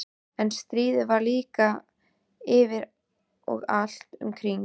En stríðið var líka yfir og allt um kring.